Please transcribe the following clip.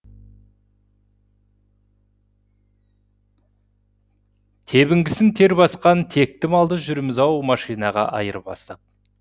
тебінгісін тер басқан текті малды жүрміз ау машинаға айырбастап